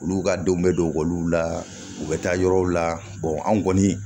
Olu ka denw bɛ don ekɔliw la u bɛ taa yɔrɔw la anw kɔni